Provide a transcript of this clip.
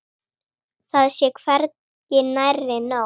Það sé hvergi nærri nóg.